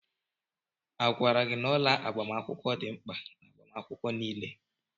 Agwara gị na ọla agbamakwụkwọ dị mkpa n'agbamakwụkwọ niile?